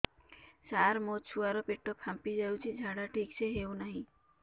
ସାର ମୋ ଛୁଆ ର ପେଟ ଫାମ୍ପି ଯାଉଛି ଝାଡା ଠିକ ସେ ହେଉନାହିଁ